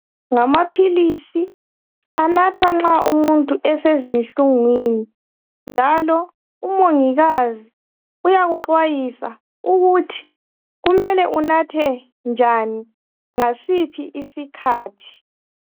Ngamaphilisi anathwa nxa umuntu esezinhlungwini, njalo umungikazi uykuqwayisa ukuthi kumele unathe njani ngasiphi isikhathi.